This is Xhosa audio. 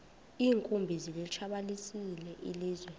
iinkumbi zilitshabalalisile ilizwe